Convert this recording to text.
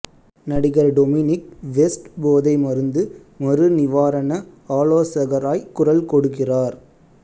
நடிகர் Dominic West போதை மருந்து மறுநிவாரண ஆலோசகராய் குரல் கொடுக்கிறார்